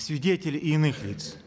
свидетелей и иных лиц